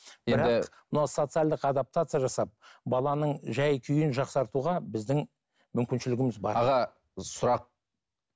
мына социалдық адаптация жасап баланың жай күйін жақсартуға біздің мүмкіншілігіміз бар аға сұрақ